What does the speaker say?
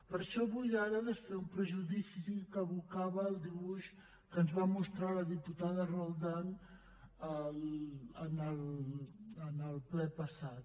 per això vull ara desfer un prejudici que evocava el dibuix que ens va mostrar la diputada roldán en el ple passat